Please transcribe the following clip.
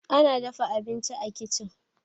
ana dafa abinci a kicin